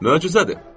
Möcüzədir.